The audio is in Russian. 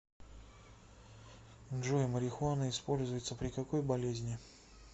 джой марихуана используется при какой болезни